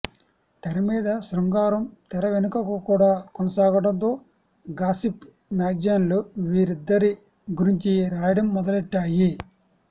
తెరమీద శృంగారం తెర వెనుకకు కూడా కొనసాగడంతో గాసిప్ మ్యాగజైన్లు వీరిద్దరి గురించి రాయడం మొదలెట్టాయి